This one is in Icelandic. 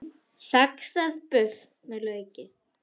Saxað buff með lauk